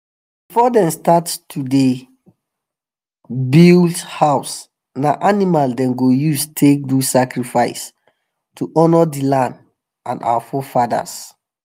before them start to to dey build house na animal them go use take do sacrifice to honour the land and our forefathers.